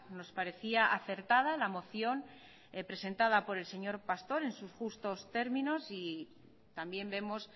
nos parecía acertada la moción presentada por el señor pastor en sus justos términos y también vemos